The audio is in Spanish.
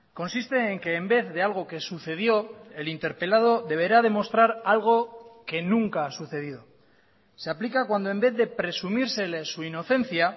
consiste en que en vez de algo que sucedió el interpelado deberá demostrar algo que nunca ha sucedido se aplica cuando en vez de presumírsele su inocencia